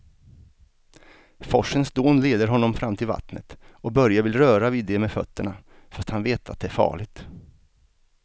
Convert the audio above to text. Forsens dån leder honom fram till vattnet och Börje vill röra vid det med fötterna, fast han vet att det är farligt.